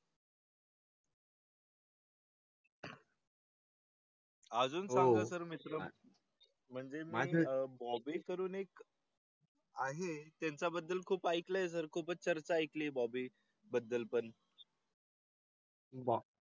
अजून . म्हणजे माझ्या बॉम्बे करून एक . आहे त्याचा बद्दल खूप ऐकलं तर खूपच चर्चा ऐकली बॉबी बद्दल पण. बा.